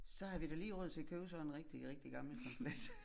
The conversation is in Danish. Så havde vi da lige råd til at købe sådan en rigtig rigtig gammel Camp-let